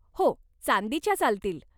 हो, चांदीच्या चालतील.